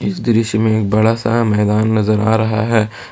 इस दृश्य में बड़ा सा मैदान नजर आ रहा है।